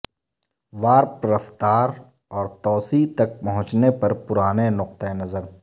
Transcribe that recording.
warp رفتار اور توسیع تک پہنچنے پر پرانے نقطہ نظر